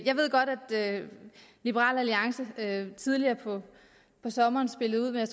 jeg ved godt at liberal alliance tidligere på sommeren spillede ud med